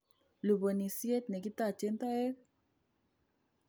Lubonishet nekitochen toek